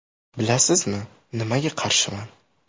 Bilasizmi, nimaga qarshiman?